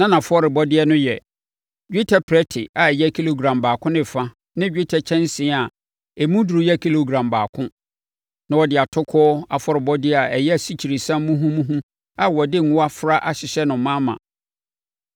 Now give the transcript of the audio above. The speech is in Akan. Na nʼafɔrebɔdeɛ no yɛ: dwetɛ prɛte a ɛyɛ kilogram baako ne fa ne dwetɛ kyɛnsee a emu duru yɛ kilogram baako. Na wɔde atokoɔ afɔrebɔdeɛ a ɛyɛ asikyiresiam muhumuhu a wɔde ngo afra ahyehyɛ no ma ma.